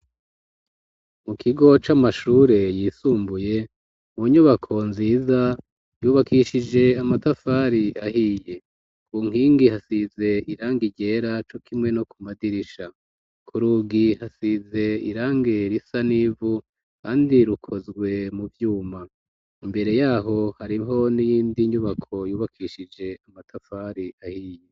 Mu kigo c'amashure yisumbuye mu nyubako nziza yubakishije amatafari ahiye ku nkingi hasize irange iryera co kimwe no ku madirisha ku rugi hasize irange risa n'ivu, kandi rukozwe mu vyuma imbere yaho hari mpo ni y'indi nyubako yubakishije amatafari ahiye.